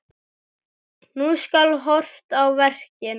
Nú skal horft á verkin.